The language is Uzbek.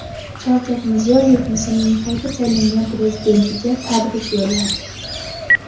Shavkat Mirziyoyev Misrning qayta saylangan prezidentiga tabrik yo‘lladi.